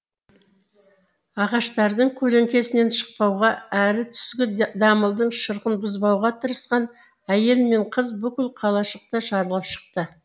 ағаштардың көлеңкесінен шықпауға әрі түскі дамылдың шырқын бұзбауға тырысқан әйел мен қыз бүкіл қалашықты шарлап шықты